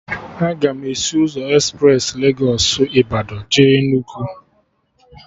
Aga m esi ụzọ espres Legos Ịbadọ jee Enugu